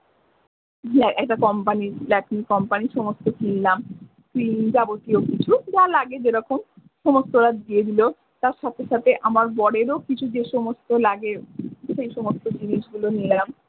একটা company Latin company সমস্ত কিনলাম যাবতীয় কিছু যা লাগে যে রকম সমস্ত ওরা দিয়ে দিলো তার সাথে সাথে আমার বরেরও কিছু যে সমস্ত লাগে সেই সমস্ত জিনিস গুলো নিলাম।